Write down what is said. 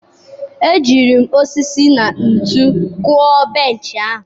Ejiri m osisi na ntu kwụọ benchị ahụ.